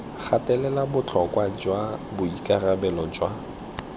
gatelela botlhokwa jwa boikarabelo jwa